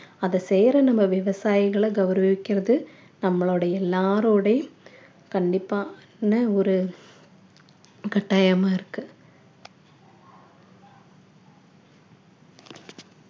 அதை செய்யற நம்ம விவசாயிகளை கௌரவிக்கிறது நம்மளுடைய எல்லாருடைய கண்டிப்பா என்ன ஒரு கட்டாயமா இருக்கு